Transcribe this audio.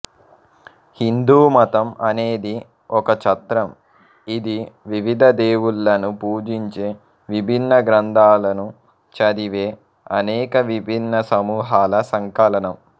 హిందూమతం అనేది ఒక ఛత్రం ఇది వివిధ దేవుళ్ళను పూజించే విభిన్న గ్రంథాలను చదివే అనేక విభిన్న సమూహాల సంకలనం